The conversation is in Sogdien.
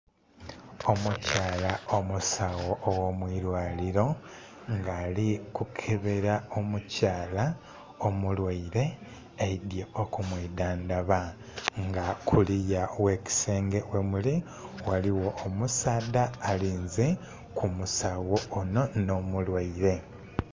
Omukyala omusawo ogh'omu ilwaliro nga ali kukebera omukyala omulwaire aidye okumwidhandaba nga kuliya ogh'ekisenge wemuli waligho omusaadha alinze ku musawo onho n'omulwaire.